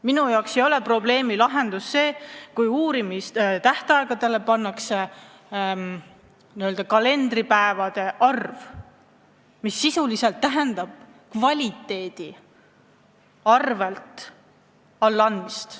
Minu jaoks ei ole probleemi lahendus see, kui uurimistähtaegu piiratakse väiksema kalendripäevade arvuga, mis sisuliselt tähendab kvaliteedi langemist.